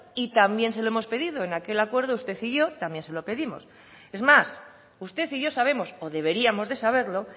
y también se lo hemos pedido en aquel acuerdo usted y yo también se lo pedimos es más usted y yo sabemos o deberíamos de saberlo